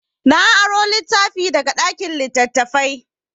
Na aro littafi daga ɗakin littattafai.